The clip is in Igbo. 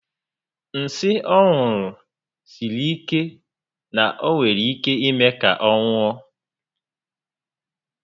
Nsí ọ ṅụru siri ike na o nwere ike ime ka ọ nwụọ